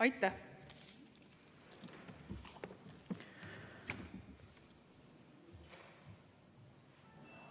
Aitäh!